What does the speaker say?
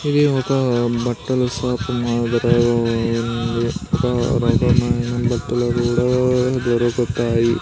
ఇది ఒక బట్టలు షాప్ మాదిరిగా ఉంది ఒక రకమైన బట్టలు కూడా దొరుకుతాయి.